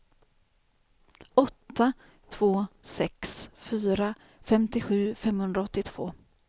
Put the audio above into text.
åtta två sex fyra femtiosju femhundraåttiotvå